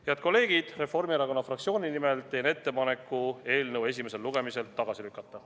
Head kolleegid, Reformierakonna fraktsiooni nimel teen ettepaneku eelnõu esimesel lugemisel tagasi lükata.